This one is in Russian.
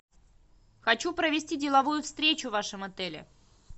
хочу провести деловую встречу в вашем отеле